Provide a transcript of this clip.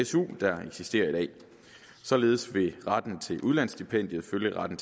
su der eksisterer i dag således vil retten til udlandsstipendium følge retten